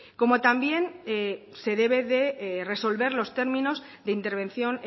como también se debe der resolver los términos de intervención